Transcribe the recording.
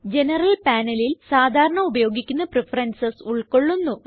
general panelല് സാധാരണ ഉപയോഗിക്കുന്ന പ്രഫറൻസസ് ഉൾകൊള്ളുന്നു